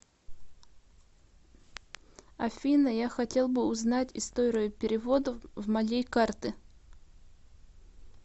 афина я хотел бы узнать историю переводов в моей карты